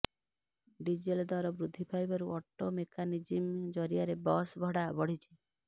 diesel ଦର ବୃଦ୍ଧି ପାଇବାରୁ ଅଟୋମେକାନିଜିମ୍ ଜରିଆରେ ବସ୍ ଭଡ଼ା ବଢ଼ିଛି